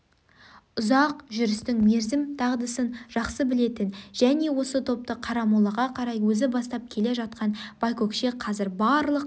үзақ жүрістің мерзім дағдысын жақсы білетін және осы топты қарамолаға қарай өзі бастап келе жатқан байкөкше қазір барлық